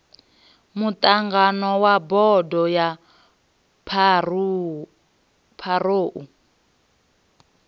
muṱangano wa bodo ya pharou